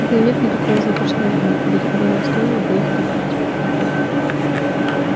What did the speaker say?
да и нет никакого завтрашнего дня ради которого стоило бы их копить